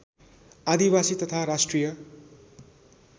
आदिवासी तथा राष्ट्रिय